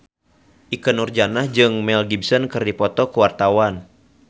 Ikke Nurjanah jeung Mel Gibson keur dipoto ku wartawan